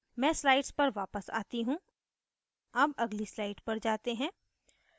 मैं slides पर वापस आती हूँ अब अगली slides पर जाते हैं